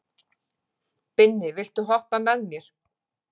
Binni, viltu hoppa með mér?